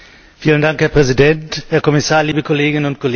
Herr Präsident, Herr Kommissar, liebe Kolleginnen und Kollegen!